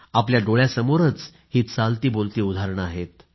आपल्या डोळ्यासमोरच ही चालतीबोलती उदाहरणं आहेत